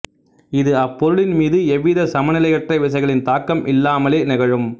இது அப்பொருளின்மீது எவ்வித சமநிலையற்ற விசைகளின் தாக்கம் இல்லாமலே நிகழும்